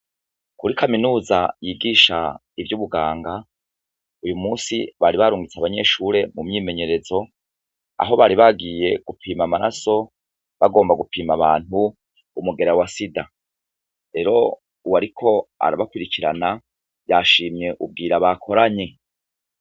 Muri kaminuza yigisha ivy' ubuganga uyumunsi bari barungitse abanyeshure mumyimenyerezo aho bari bagiye gupima amaraso bagomba gupima umugera wa sida rero uwariko arabakurikirana yashimye ubwira bakoranye.